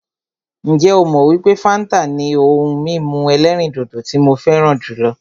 Ǹjẹ́ ó mọ wípé fáńtà ni ohun mímu ẹ̀lẹ́rìndodò tí mo fẹràn jùlọ?